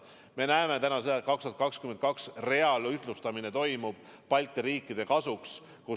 Me näeme täna, et aastal 2022 reaalne ühtlustamine Balti riikide kasuks toimub.